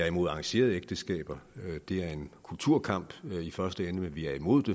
imod arrangerede ægteskaber det er en kulturkamp i første ende men vi er imod det